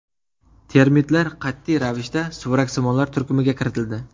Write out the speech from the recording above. Termitlar qat’iy ravishda suvaraksimonlar turkumiga kiritildi.